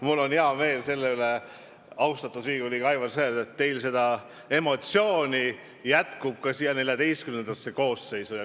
Mul on hea meel, austatud Riigikogu liige Aivar Sõerd, et teil jätkub emotsioone ka XIV koosseisus.